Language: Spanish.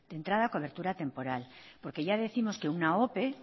de entrada cobertura temporal porque ya décimos que una ope